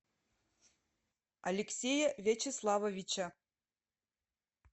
алексея вячеславовича